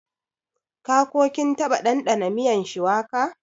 Ka / kin taba ɗandana miyan shuwaka?